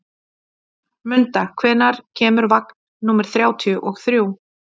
Munda, hvenær kemur vagn númer þrjátíu og þrjú?